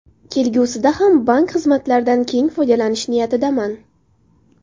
Kelgusida ham bank xizmatlaridan keng foydalanish niyatidaman.